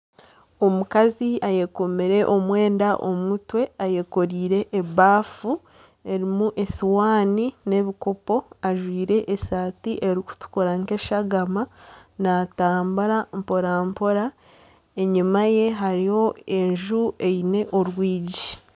Omukazi ayekomire omwenda omu mutwe Kandi ayekoreire ebafu erimu esihaani nana ebikopo ajwaire esaati erikutukura nkeshagama natambura mporampora enyumaye hariyo enju eine orwigi.